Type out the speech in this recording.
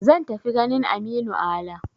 Zan tafi ganin Aminu Ala.